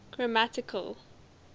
grammatical